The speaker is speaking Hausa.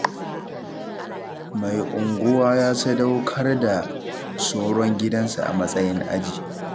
Mai unguwa ya sadaukar da soron gidansa a matsayin aji.